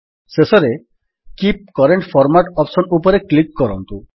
ଶେଷରେ keep current format option ଉପରେ click କରନ୍ତୁ